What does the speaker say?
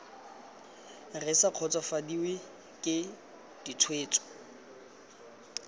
re sa kgotsofadiwe ke ditshwetso